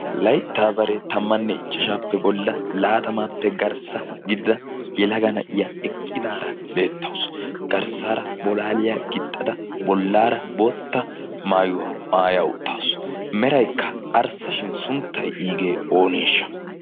Layttaa baree tammanne ichchashaappe bolla laatamaappe garssa gidida yelagana iya eqqidaara beettausu garssaara bolaaliyaa gixxada bollaara bootta maayuwaa maaya uttaasu meraikka arssashin sunttai iigee ooneeshsha?